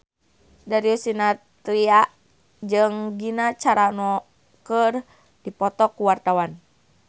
Darius Sinathrya jeung Gina Carano keur dipoto ku wartawan